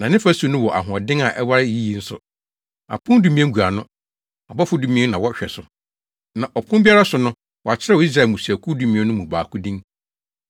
Na ne fasu no wɔ ahoɔden na ɛware yiye nso. Apon dumien gu ano a, abɔfo dumien na wɔhwɛ so. Na ɔpon biara so no wɔakyerɛw Israel mmusuakuw dumien no mu baako din.